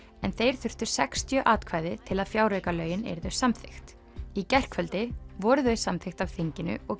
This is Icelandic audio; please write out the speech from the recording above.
en þeir þurftu sextíu atkvæði til að fjáraukalögin yrðu samþykkt í gærkvöldi voru þau samþykkt af þinginu og